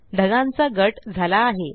ढगांचा गट झाला आहे